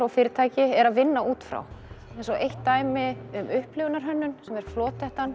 fyrirtæki eru að vinna út frá eins og eitt dæmi um upplifunarhönnun sem er